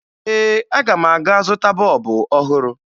Ee, aga m aga zụta bọọbụ ọhụrụ